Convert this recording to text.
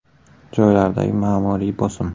Joylardagi ma’muriy bosim.